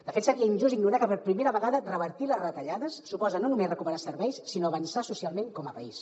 de fet seria injust ignorar que per primera vegada revertir les retallades suposa no només recuperar serveis sinó avançar socialment com a país